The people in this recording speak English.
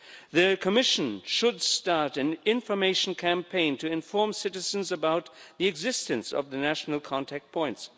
The Commission should start an information campaign to inform citizens about the existence of the national contact points.